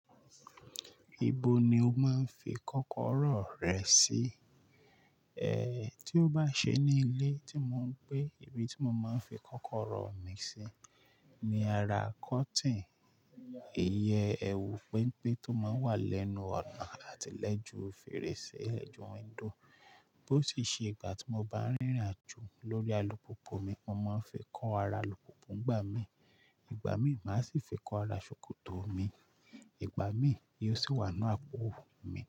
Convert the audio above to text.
Ibo ni o máa ń fi kọ́kọ́rọ́ rẹ sí? E, tí ó bá ṣe ní ilé tí mò ń gbé, ibi tí mo máa ń fi kọ́kọ́rọ́ mi sí ni ara cotton, iye ẹwù penpen tó máa ń wà lẹ́nu ọ̀nà àti lẹ́jù fèrèsé lẹ́jù windo. Bó tì ṣe ìgbà tí mo bá ń rínrà jù lórí alùpópó mi, mo máa ń fi kọ ara alùpópónù gbà mí. Ìgbà mìí, màá sì fi kọ ara ṣòkòtò mi. Ìgbà mìí, yóò sì wà n nu ápóò mì.